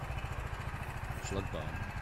шлагбаум